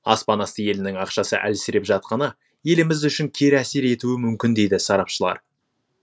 аспан асты елінің ақшасы әлсіреп жатқаны еліміз үшін кері әсер етуі мүмкін дейді сарапшылар